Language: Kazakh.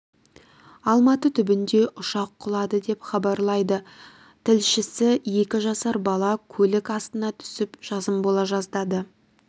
алматы түбінде ұшақ құлады деп хабарлайды тілшісі екі жасар бала көлік астына түсіп жазым бола жаздады